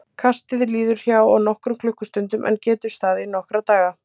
Kastið liður hjá á nokkrum klukkustundum en getur staðið í nokkra daga.